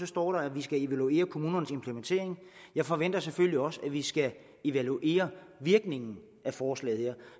står at vi skal evaluere kommunernes implementering og jeg forventer selvfølgelig også at vi skal evaluere virkningen af forslaget her